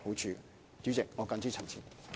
主席，我謹此陳辭。